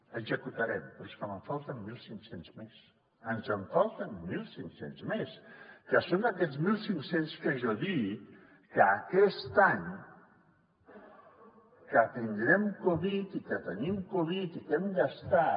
executarem però és que me’n falten mil cinc cents més ens en falten mil cinc cents més que són aquests mil cinc cents que jo dic que aquest any que tindrem covid i que tenim covid i que hem gastat